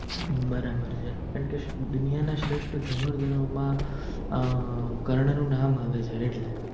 હમ બરાબર છે કારણકે દુનિયા ના સાવથી શ્રેસ્ટ ધનુરધારો મા અ કર્ણ નું નામ આવે છે આટલે